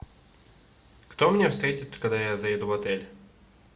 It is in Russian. кто меня встретит когда я заеду в отель